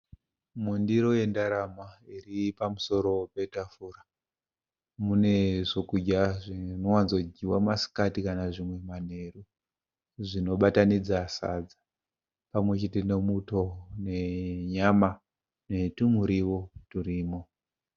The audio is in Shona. Mundiro yendarama iri pamusoro petafura. Mune zvokudya zvinowanzodyiwa masikati kana kuti manherú. Zvinobatanidza sadza pamwechete nemuto nenyama netumurio turimo.